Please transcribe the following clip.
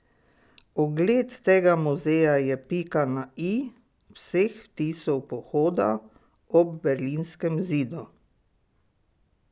Ogled tega muzeja je pika na i vseh vtisov pohoda ob berlinskem zidu.